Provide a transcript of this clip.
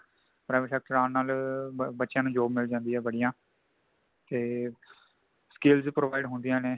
private sector ਆਂਨ ਨਾਲ ਬੱਚਿਆਂ ਨੂੰ job ਮਿਲ ਜਾਂਦੀ ਹੈ ਵਧੀਆ, ਤੇ skills provides ਹੋਂਦੀਆਂ ਨੇ |